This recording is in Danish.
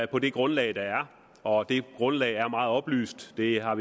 på det grundlag der er og det grundlag er meget oplyst vi har